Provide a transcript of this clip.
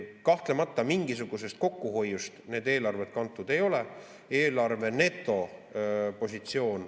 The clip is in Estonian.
Kahtlemata mingisugusest kokkuhoiust need eelarved kantud ei ole.